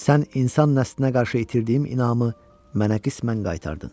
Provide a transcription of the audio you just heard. Sən insan nəslinə qarşı itirdiyim inamı mənə qismən qaytardın.